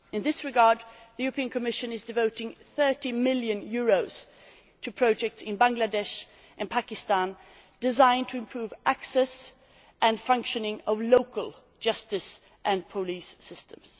In this regard, the Commission is devoting EUR 30 million to projects in Bangladesh and Pakistan that aim to improve access to and the functioning of local justice and police systems.